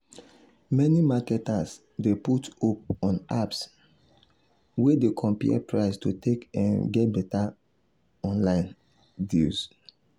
after dem pay off off di debt sarah don dey live debt free life.